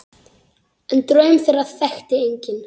En draum þeirra þekkti enginn.